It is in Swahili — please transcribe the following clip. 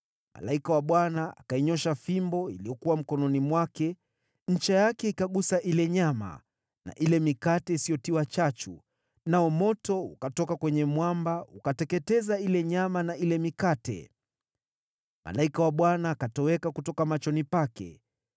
Malaika wa Bwana akainyoosha fimbo iliyokuwa mkononi mwake, ncha yake ikagusa ile nyama na ile mikate isiyotiwa chachu, nao moto ukatoka kwenye mwamba ukateketeza ile nyama na ile mikate. Malaika wa Bwana akatoweka kutoka machoni pake.